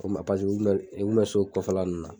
paseke u bilen u bina sokɔfɛla nunnu na